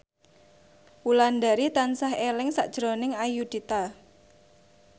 Wulandari tansah eling sakjroning Ayudhita